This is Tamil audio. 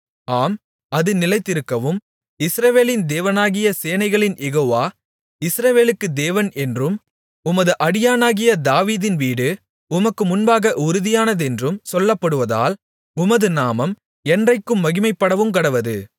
ஆம் அது நிலைத்திருக்கவும் இஸ்ரவேலின் தேவனாகிய சேனைகளின் யெகோவா இஸ்ரவேலுக்கு தேவன் என்றும் உமது அடியானாகிய தாவீதின் வீடு உமக்கு முன்பாக உறுதியானதென்றும் சொல்லப்படுவதால் உமது நாமம் என்றைக்கும் மகிமைப்படவுங்கடவது